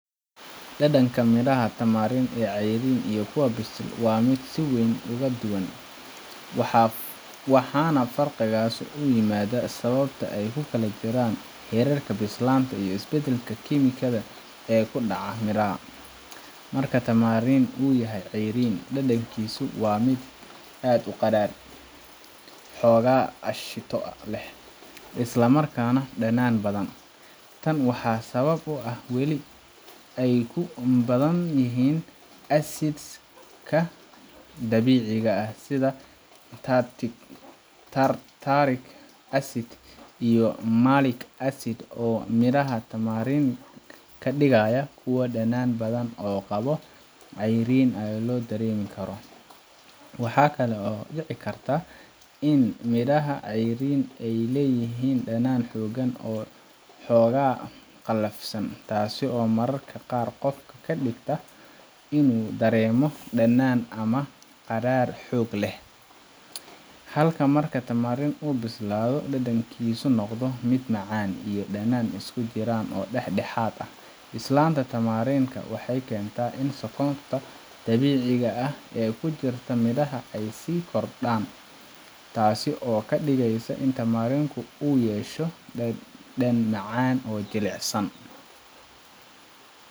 Dhadhanka midhaha tamarind ee cayriin iyo kuwa bisil waa mid si weyn uga duwan, waxaana faraqaasi u yimaadaa sababta ay u kala jiraan heerarka bislaanta iyo isbeddelka kiimikada ee ku dhaca midhaha. Marka tamarind uu yahay cayriin, dhadhankiisu waa mid aad u qadhaadh, xoogaa aashito leh, isla markaana dhanaan badan. Tan waxaa sabab u ah in weli ay ku badan yihiin acids ka dabiiciga ah sida tartaric acid iyo malic acid, oo midhaha tamarind ka dhigaya kuwo dhanaan badan oo qaab cayriin ah loo dareemi karo. Waxaa kale oo dhici karta in midhaha cayriinka ahi ay leeyihiin dhadhan xooggan oo xoogaa qallafsan, taasoo mararka qaar qofka ka dhigta inuu dareemo dhanaan ama qadhaadh xoog leh. Halka marka tamarind uu bislaado, dhadhankiisu noqdo mid macaan iyo dhanaan isku jira oo dhexdhexaad ah. Bislaanta tamarind ka waxay keentaa in sonkorta dabiiciga ah ee ku jirta midhaha ay sii kordhaan, taas oo ka dhigaysa in tamarind ku uu yeesho dhadhan macaan oo jilicsan,